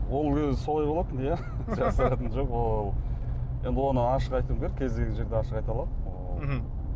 ол өзі солай болатын иә жасыратыны жоқ енді оны ашық айтуым керек кез келген жерде ашық айта аламын мхм